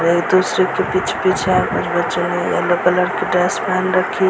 बच्चो ने yellow colour की ड्रेस पेहन रखी है।